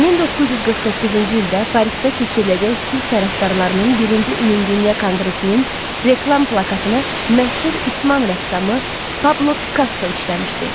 1949-cu ildə Parisdə keçiriləcək sülh tərəfdarlarının birinci ümumdünya konqresinin reklam plakatını məşhur ispan rəssamı Pablo Pikasso işləmişdi.